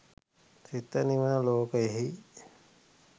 සිත නිවන ලෝකයෙහි